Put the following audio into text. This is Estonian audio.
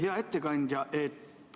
Hea ettekandja!